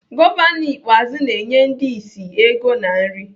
Gọvanọ Ikpeazụ na-enye ndi ịsị ego na nri.